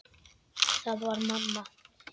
Það var mamma.